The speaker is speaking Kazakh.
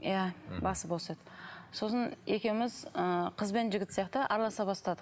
иә мхм басы бос еді сосын екеуміз ы қыз бен жігіт сияқты араласа бастадық